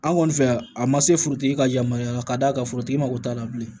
An kɔni fɛ yan a ma se forotigi ka yamaruya ka d'a kan forotigi mako t'a la bilen